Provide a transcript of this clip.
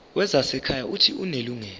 wezasekhaya uuthi unelungelo